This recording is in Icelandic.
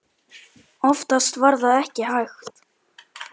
Oftast var það ekki hægt.